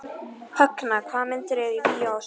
Högna, hvaða myndir eru í bíó á sunnudaginn?